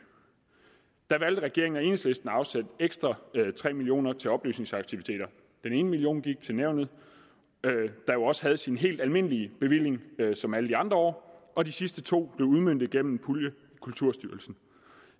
der valgte regeringen og enhedslisten at afsætte ekstra tre million kroner til oplysningsaktiviteter den ene million gik til nævnet der jo også havde sin helt almindelige bevilling som alle de andre år og de sidste to blev udmøntet gennem en pulje i kulturstyrelsen